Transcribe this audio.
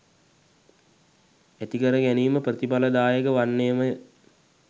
ඇතිකර ගැනීම ප්‍රතිඵලදායක වන්නේමය.